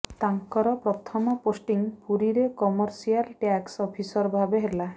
ତାଙ୍କର ପ୍ରଥମ ପୋଷ୍ଟିଂ ପୁରୀରେ କମର୍ସିଆଲ ଟ୍ୟାକ୍ସ ଅଫିସର ଭାବେ ହେଲା